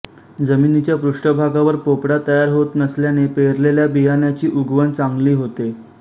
जमिनीच्या पृष्ठभागावर पोपडा तयार होत नसल्याने पेरलेल्या बियाण्याची उगवण चांगली होते